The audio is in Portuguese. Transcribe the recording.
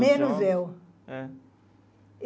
Menos eu. Eh